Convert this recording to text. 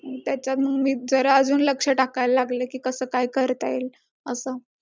आता April चालू झाला तर एक ते पंधरा तारखेपर्यंत किंवा पधंरा ते तीस तारखेपर्यंत ते direct तुमच्या account ला पैसे टाकतात तुम्हाला call येणार .